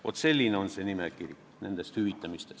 Vaat selline on nimekiri kõigest, mida hüvitatakse.